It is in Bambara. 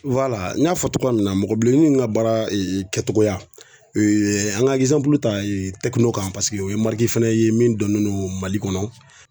wala n y'a fɔ togoya min na mɔgɔbileni nunnu ka baara ee kɛtogoya ee an ga ɛgizanpulu ta ee tɛkino kan paseke o ye mariki fɛnɛ ye min donnen no mali kɔnɔ